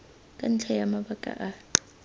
ka ntlha ya mabaka a